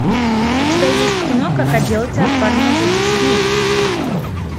у тебя есть кино как отделаться от парня за десять дней